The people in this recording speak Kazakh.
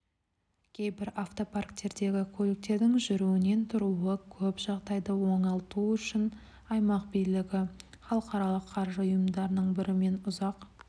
кейбір автопарктердегі көліктердің жүруінен тұруы көп жағдайды оңалту үшін аймақ билігі халықаралық қаржы ұйымдарының бірімен ұзақ